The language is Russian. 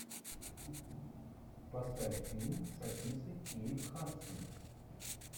поставь фильм с актрисой кейт хадсон